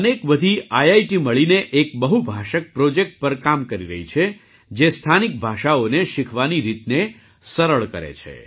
અનેક બધી આઈઆઈટી મળીને એક બહુભાષક પ્રૉજેક્ટ પર કામ કરી રહી છે જે સ્થાનિક ભાષાઓને શીખવાની રીતને સરળ કરે છે